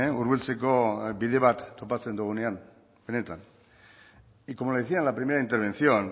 hurbiltzeko bide bat topatzen dugunean benetan y como le decía en la primera intervención